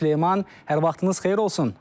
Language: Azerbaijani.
Süleyman, hər vaxtınız xeyir olsun.